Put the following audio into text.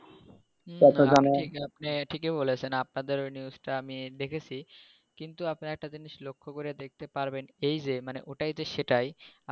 আপনি ঠিকই বলেছেন, আপনাদের ওই news টা আমি দেখেছি, কিন্তু আপনারা একটা জিনিস লক্ষ করে দেখতে পারবেন এই যে মানে ঐটাই তো সেটাই